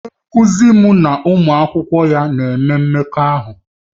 Onye nkuzi m na ụmụ akwụkwọ ya na-eme mmekọahụ